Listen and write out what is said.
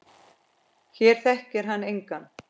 Hér þekkir hann engan.